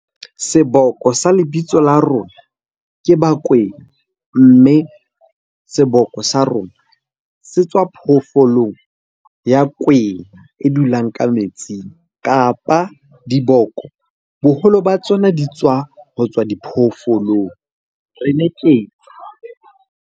Seboko sa lebitso la rona ke bakwena. Mme seboko sa rona se tswa phoofolong ya kwena e dulang ka metsing, kapa diboko boholo ba tsona di tswa ho tswa diphoofolong .